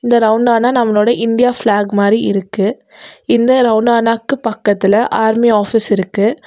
இந்த ரவுண்டானா நம்மோலட இந்தியா ஃபிலாக் மாறி இருக்கு இந்த ரவுண்டானாக்கு பக்கத்துல ஆர்மி ஆபிஸ் இருக்கு.